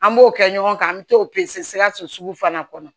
An b'o kɛ ɲɔgɔn kan an mɛ t'o sikaso fana kɔnɔ